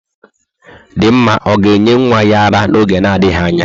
Dinma ọ ga-enye nwa ya ara n'oge na-adịghị anya?